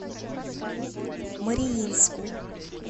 мариинску